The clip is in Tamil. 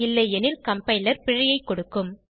இல்லையெனில் கம்பைலர் பிழையைக் கொடுக்கும்